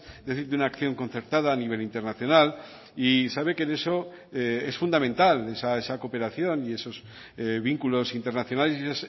es decir de una acción concertada a nivel internacional y sabe que en eso es fundamental esa cooperación y esos vínculos internacionales y